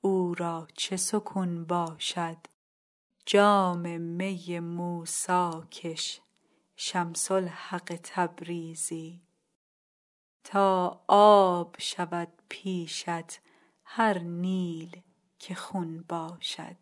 او را چه سکون باشد جام می موسی کش شمس الحق تبریزی تا آب شود پیشت هر نیل که خون باشد